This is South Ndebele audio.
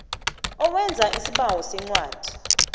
owenza isibawo sencwadi